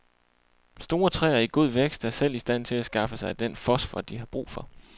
Store træer i god vækst er selv i stand til at skaffe sig den fosfor, de har brug for.